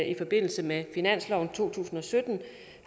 i forbindelse med finansloven to tusind og sytten jo